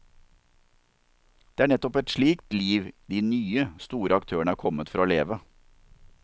Det er neppe et slikt liv de nye, store aktørene er kommet for å leve.